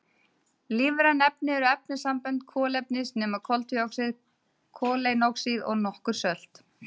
Lífræn efni eru efnasambönd kolefnis nema koltvíoxíð, koleinoxíð og nokkur sölt.